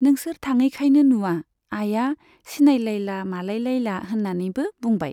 नोंसोर थाङैखायनो नुवा। आइया सिनायलायला मालायलयला होननानैबो बुंबाय।